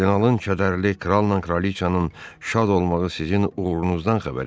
Kardinalın kədərli kralla kraliçanın şad olmağı sizin uğurunuzdan xəbər verir.